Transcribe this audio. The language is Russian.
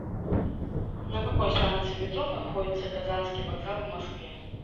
на какой станции метро находится казанский вокзал в москве